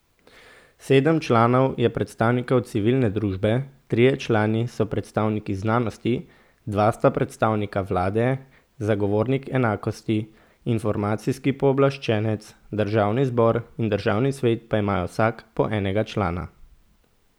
Sedem članov je predstavnikov civilne družbe, trije člani so predstavniki znanosti, dva sta predstavnika vlade, zagovornik enakosti, informacijski pooblaščenec, državni zbor in državni svet pa imajo vsak po enega člana.